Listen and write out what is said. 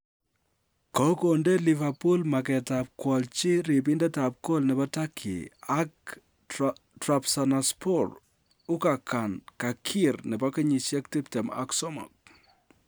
Kogonde Liverpool maget ab koolchi ribindet ab gool nebo Turkey ak Trabzonspor, Ugurcan Cakir, nebo kenyisiek 23.